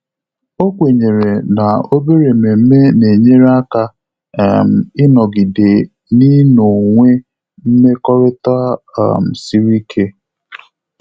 Ọ́ kwènyèrè na obere ememe nà-ényéré áká um ị́nọ́gídé n’ị́nọ́wé mmekọrịta um siri ike.